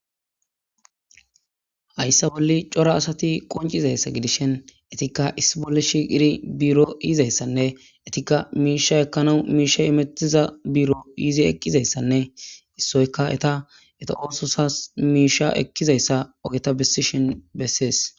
Hayssa bolli cora assati qonccizayssa giddishin eetika issi bolli shiiqidi biiro yiizayssane eetikka mishsha ekkanawu mishshey immettiza biiro yiiddi eqqidayssane issoykka eeta eeta ossozasi miisha ekkizayssa oggeta bessishin besses.